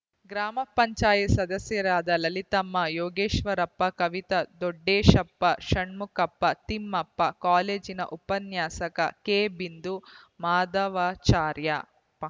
ಗ್ರಾಮ ಪಂಚಾಯತ್ ಸದಸ್ಯರಾದ ಲಲಿತಮ್ಮ ಯೋಗೇಶ್ವರಪ್ಪ ಕವಿತಾ ದೊಡ್ಡೇಶಪ್ಪ ಷಣ್ಮುಖಪ್ಪ ತಿಮ್ಮಪ್ಪ ಕಾಲೇಜಿನ ಉಪನ್ಯಾಸಕ ಕೆ ಬಿಂದು ಮಾಧವಾಚಾರ್ಯ